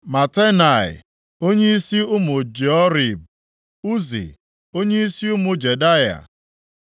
Matenai, onyeisi ụmụ Joiarib; Uzi, onyeisi ụmụ Jedaya;